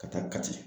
Ka taa kati